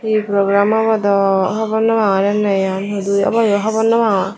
he program obow dow hobornopang hudu obow yo hobornopangor.